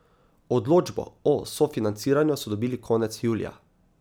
Odločbo o sofinanciranju so dobili konec julija.